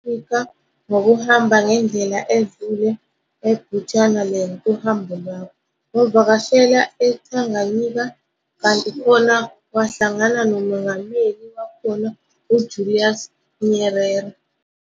Afrika ngokuhamba ngendlela edlule e-Bechuanaland, kuhambo lwakho, wavakashela e-Tanganyika kanti khona wahlangano nomengameli wakhona uJulius Nyerere.